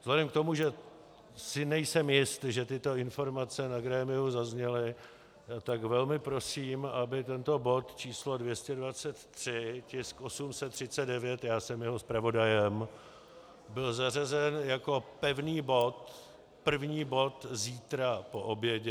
Vzhledem k tomu, že si nejsem jist, že tyto informace na grémiu zazněly, tak velmi prosím, aby tento bod číslo 223, tisk 839, já jsem jeho zpravodajem, byl zařazen jako pevný bod první bod zítra po obědě.